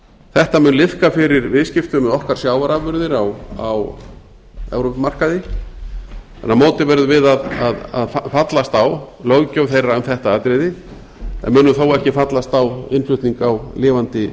þetta mun liðka fyrir viðskiptum með okkar sjávarafurðir á evrópumarkaði en á móti verðum við að fallast á löggjöf þeirra um þetta atriði en munum þó ekki fallast á innflutning á lifandi